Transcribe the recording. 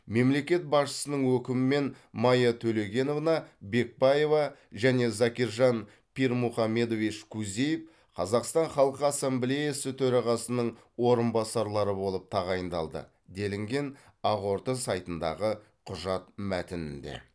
мемлекет басшысының өкімімен майя төлегеновна бекбаева және закиржан пирмухамедович кузиев қазақстан халқы ассамблеясы төрағасының орынбасарлары болып тағайындалды делінген ақорда сайтындағы құжат мәтінінде